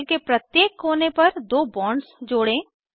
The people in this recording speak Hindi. साइकिल के प्रत्येक कोने पर दो बॉन्ड्स जोड़ें